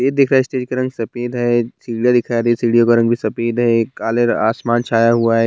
दिख रहा है स्टेज का रंग सफेद है सीढ़ियां दिख रहा है सीढ़ियों का रंग भी सफेद है काले आसमान छाया हुआ है।